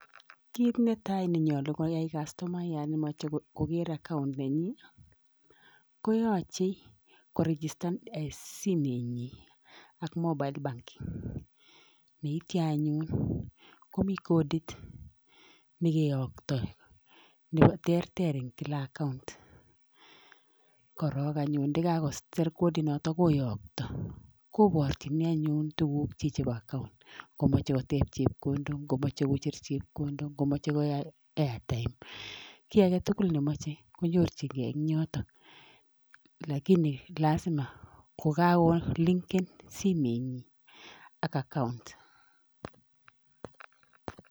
Kit netai nenyolu koya castomayat nemoche kokere account nenyin koyoche 'koregistan' een simenyin ak mobile banking yeitia anyun komi codit nekiyokto terter en kila account korong anyun ndakakosir codinoto koyokto koborchini anyun tukukyik chepo account ngomoche koteb chepkondok ,ngomoje kocher chepkondok, ngomoche koyai airtime ki agetugul nemoche kenyorchingee en yoto lakini lasima kokarolingen simenyi ak account.